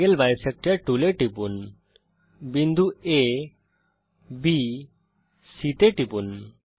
angle bisector tool এবং tool bar এ টিপুন বিন্দু abসি তে টিপুন